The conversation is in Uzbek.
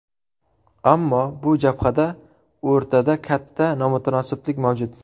Ammo bu jabhada o‘rtada katta nomutanosiblik mavjud.